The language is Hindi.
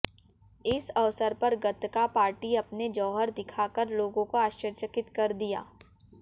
इस अवसर पर गतका पार्टी अपने जौहर दिखा कर लोगों को आश्चर्यचकित कर दिया